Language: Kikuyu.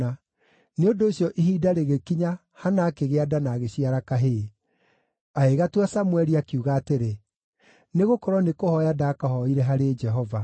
Nĩ ũndũ ũcio ihinda rĩgĩkinya Hana akĩgĩa nda na agĩciara kahĩĩ. Agĩgatua Samũeli, akiuga atĩrĩ, “Nĩgũkorwo nĩ kũhooya ndakahooire harĩ Jehova.”